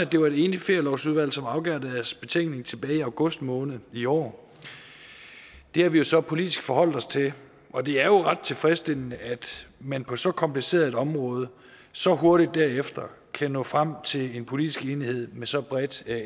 det var et enigt ferielovudvalg som afgav deres betænkning tilbage i august måned i år det har vi så politisk forholdt os til og det er jo ret tilfredsstillende at man på så kompliceret et område så hurtigt derefter kan nå frem til en politisk enighed med så bredt